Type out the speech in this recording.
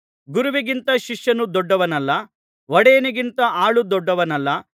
ಗುರುವಿಗಿಂತ ಶಿಷ್ಯನು ದೊಡ್ಡವನಲ್ಲ ಒಡೆಯನಿಗಿಂತ ಆಳು ದೊಡ್ಡವನಲ್ಲ